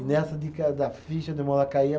E nessa dica da ficha, demora cair a.